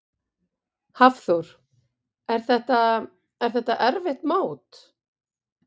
Hafþór: Er þetta, er þetta erfitt mót?